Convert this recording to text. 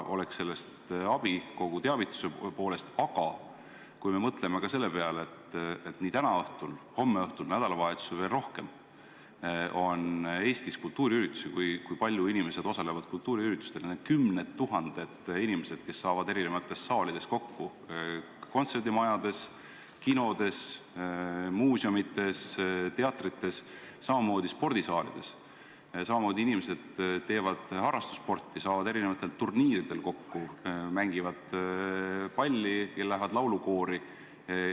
Aga mõtleme ka selle peale, et nii täna õhtul, homme õhtul kui ka nädalavahetusel toimuvad Eestis kultuuriüritused, millel osalevad väga paljud inimesed, kümned tuhanded inimesed, kes saavad kokku erinevates saalides – kontserdimajades, kinodes, muuseumites, teatrites, samamoodi spordisaalides –, lisaks teevad inimesed harrastussporti, saavad kokku turniiridel, mängivad palli ja lähevad laulukoori.